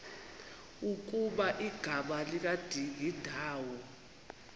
ukuba igama likadingindawo